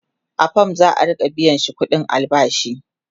a fam za'a Rika biyashi ƙuɗin albashi